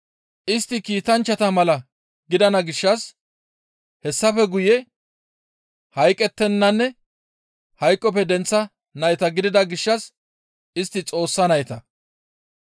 Istti kiitanchchata mala gidana gishshas hessafe guye hayqqettennanne hayqoppe denththa nayta gidida gishshas istti Xoossa nayta.